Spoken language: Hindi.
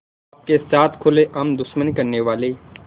आपके साथ खुलेआम दुश्मनी करने वाले